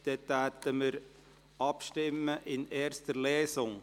Wir kommen somit zur Abstimmung über die erste Lesung.